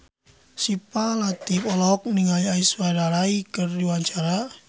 Syifa Latief olohok ningali Aishwarya Rai keur diwawancara